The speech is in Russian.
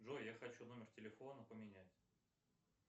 джой я хочу номер телефона поменять